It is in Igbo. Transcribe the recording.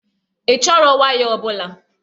Ị chọrọ waya ọbụla?